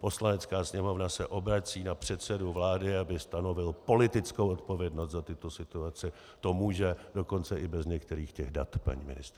Poslanecká sněmovna se obrací na předsedu vlády, aby stanovil politickou odpovědnost za tyto situace, to může dokonce i bez některých těch dat, paní ministryně.